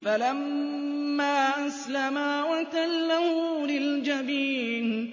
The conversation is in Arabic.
فَلَمَّا أَسْلَمَا وَتَلَّهُ لِلْجَبِينِ